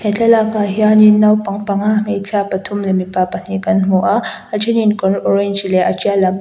he thlalakah hianin naupang panga hmeichhia pathum leh mipa pahnih kan hmu a a thenin kawr orange leh a tial lam --